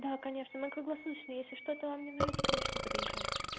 да конечно на круглосуточный но если что-то вам не нравится конечно подьезжайте